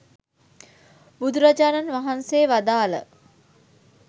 බුදුරජාණන් වහන්සේ වදාළ